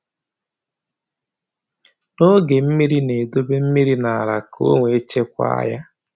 N'oge mmiri na-edobe mmiri n’ala ka e wee chekwaa ya.